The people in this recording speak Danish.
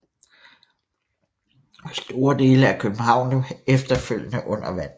Store dele af København lå efterfølgende under vand